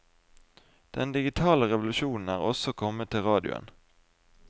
Den digitale revolusjonen er også kommet til radioen.